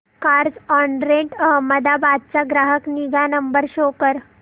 Carzonrent Ahmedabad चा ग्राहक निगा नंबर शो कर